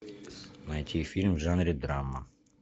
найти фильм в жанре драма